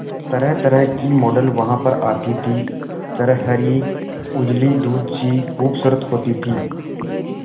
तरहतरह की मॉडल वहां पर आती थी छरहरी उजली दूध सी खूबसूरत होती थी